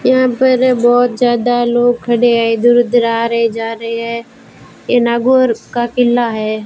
यहां पर बहुत ज्यादा लोग खड़े हैं इधर उधर आ रहे हैं जा रहे हैं ये नागौर का किला है।